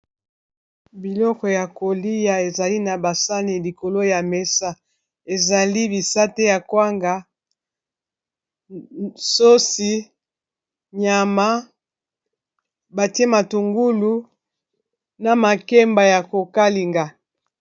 Biloko ya kolia ezali na ba sani likolo ya mesa ezali bisate ya kwanga sosi nyama batie matungulu na makemba ya kokalinga.